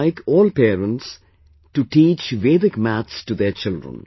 I would like all parents to teach Vedic maths to their children